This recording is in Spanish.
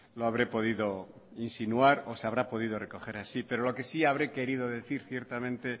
lo habré podido insinuar o se habrá podido recoger así pero lo que sí habré querido decir ciertamente